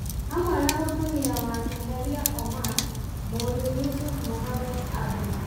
hamwe na mũtumia wake Kheria Omar, mũriũ Yusuf Mohammed Abdi ,